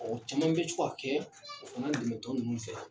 Ɔ caman bɛ to a kɛ dɛmɛtɔn ninnu fɛ